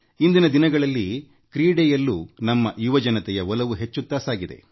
ಇಂದಿನ ದಿನಗಳಲ್ಲಿ ಕ್ರೀಡೆಯಲ್ಲೂ ನಮ್ಮ ಯುವಜನರ ಒಲವು ಹೆಚ್ಚಾಗುತ್ತಿದೆ